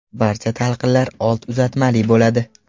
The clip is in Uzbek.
Barcha talqinlar old uzatmali bo‘ladi.